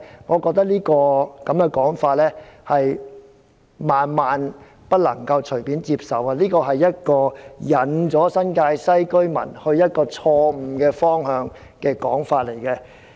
我覺得我們萬萬不能隨便接受這種說法，這是引領新界西居民走向錯誤方向的說法。